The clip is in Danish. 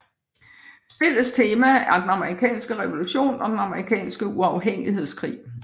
Spillets tema er den amerikanske revolution og den amerikanske uafhængighedskrig